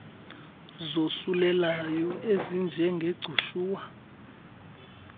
zosulelayo ezinje ngegcushuwa